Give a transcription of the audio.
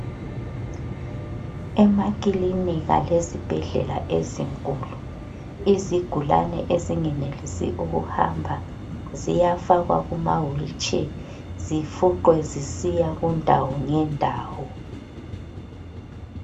Emakilinika lezibhedlela ezinkulu, izigulane ezingenelisi ukuhamba ziyafakwa kuma wilitshe zifuqwe zisiya kundawo ngendawo.